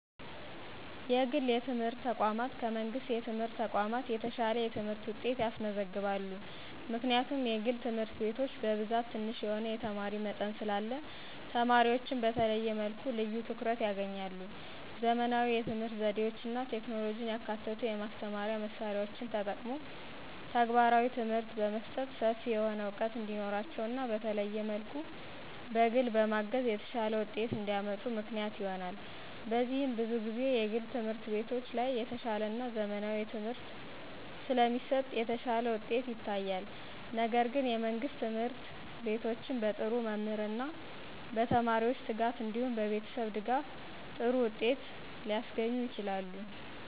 የግል የትምህርት ተቋማት ከመንግሥት የትምህርት ተቋማት የተሻለ የትምህርት ውጤት ያስመዘግባሉ። ምክንያቱም የግል ትምህርት ቤቶች በብዛት ትንሽ የሆነ የተማሪ መጠን ስላለ ተማሪዎችን በተለየ መልኩ ልዩ ትኩረት ያገኛሉ። _ ዘመናዊ የትምህርት ዘዴዎችና ቴክኖሎጂን ያካተቱ የማስተማሪያ መሳሪያዎችን ተጠቅሞ ተግባራዊ ትምህርት በመስጠት ሰፊ የሆነ ዕውቀት እንዲኖራቸውና በተለየ መልኩ በግል በማገዝ የተሻለ ውጤት እንዲያመጡ ምክንያት ይሆናል። በዚህም ብዙ ጊዜ የግል ትምህርት ቤቶች ላይ የተሻለና ዘመናዊ ትምህርት ስለሚሰጥ የተሻለ ውጤት ይታያል። ነገር ግን የመንግስት ትምህርት ቤቶችም በጥሩ መምህርና በተማሪዎች ትጋት እንዲሁም በቤተሰብ ድጋፍ ጥሩ ውጤት ሊያስገኙ ይችላሉ።